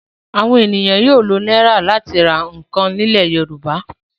Àwọn ènìyàn yóò lo náírà láti ra nǹkan nílẹ̀ Yorùbá.